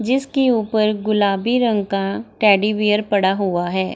जिसकी ऊपर गुलाबी रंग का टेडी बियर पड़ा हुआ है।